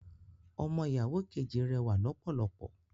Ọmọ ìyàwó kejì rẹwà lọ́pọ̀lọpọ̀